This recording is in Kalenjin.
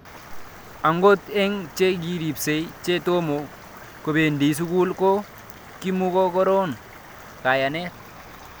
Akot eng' che kiripsei che tomo kopendi sukul ko ko kimukokororn kanyaet